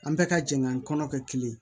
An bɛɛ ka jɛkan kɔnɔ kɛ kelen ye